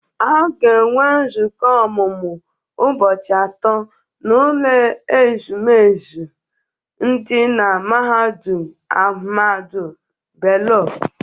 A ga-enwe nzukọ ọmụmụ ụbọchị atọ n'ụlọ ezumezu dị na mahadum Ahmadu Bello.